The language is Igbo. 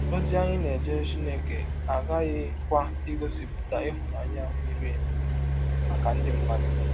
Ọzi anyị na - ejere Chineke aghaghịkwa igọsipụta ịhụnanya miri emi maka ndị mmadụ.